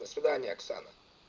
до свидания оксана